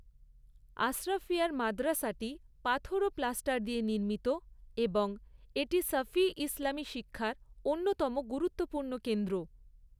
আশরাফিয়ার মাদ্রাসাটি পাথর ও প্লাস্টার দিয়ে নির্মিত এবং এটি শাফিঈ ইসলামী শিক্ষার অন্যতম গুরুত্বপূর্ণ কেন্দ্র।